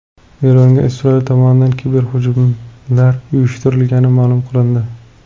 Eronga Isroil tomonidan kiberhujumlar uyushtirilgani ma’lum qilindi.